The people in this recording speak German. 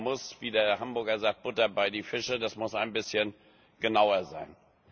Da muss, wie der Hamburger sagt Butter bei die Fische, das muss ein bisschen genauer sein.